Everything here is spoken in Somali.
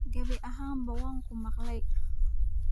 gabi ahaanba waan ku maqlay.